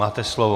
Máte slovo.